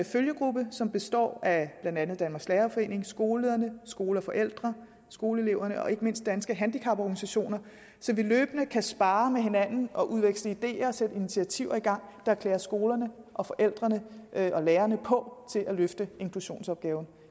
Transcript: følgegruppe som består af blandt andet danmarks lærerforening skolelederne skole og forældre skoleeleverne og ikke mindst danske handicaporganisationer så vi løbende kan sparre med hinanden og udveksle ideer og sætte initiativer i gang der klæder skolerne og forældrene og lærerne på til at løfte inklusionsopgaven